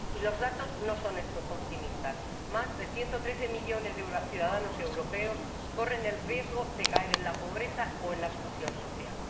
Y los datos no son optimistas más de 113 millones de ciudadanos europeos corren el riesgo de caer en la pobreza o en la exclusión social.